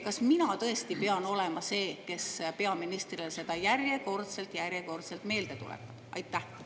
Kas mina pean tõesti olema see, kes peaministrile seda järjekordselt, järjekordselt meelde tuletab?